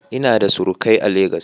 Ina da surukai a Legas.